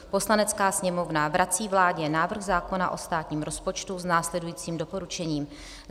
Poslanecká sněmovna vrací vládě návrh zákona o státním rozpočtu s následujícím doporučením: